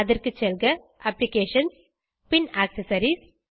அதற்கு செல்க அப்ளிகேஷன்ஸ் பின் ஆக்செசரிஸ்